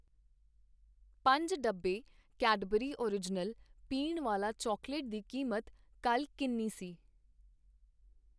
ਪੰਜ ਡੱਬੇ Cadbury original ਪੀਣ ਵਾਲਾ ਚਾਕਲੇਟ ਦੀ ਕੀਮਤ ਕੱਲ ਕਿੰਨੀ ਸੀ ?